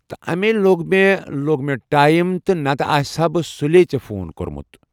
تہٕ امے لوٚگ مےٚ لوٚگ مےٚ ٹایم نتہٕ آسہٕ ہا بہٕ سُلے ژےٚ فون کوٚرمُت۔